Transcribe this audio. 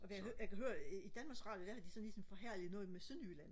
Jeg kan høre jeg kan høre I Danmarks Radio der har de sådan ligesom forhærdet noget med sønderjylland